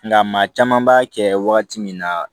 Nka maa caman b'a kɛ wagati min na